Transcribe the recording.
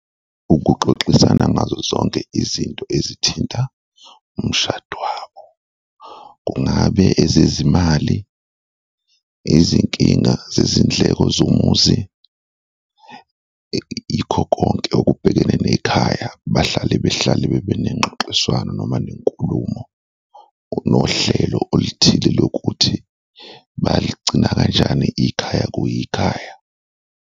Ukuxoxisana ngazo zonke izinto ezithinta umshado wabo, kungabe ezezimali? Izinkinga zezindleko zomuzi? Yikho konke okubhekene nekhaya, bahlale behlale bebenengxoxiswano noma nenkulumo nohlelo oluthile lokuthi baligcina kanjani ikhaya kuyikhaya.